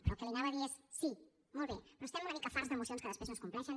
però el que li diré és sí molt bé però estem una mica farts de mocions que després no es compleixen